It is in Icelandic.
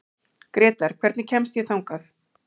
Grétar, hvernig kemst ég þangað?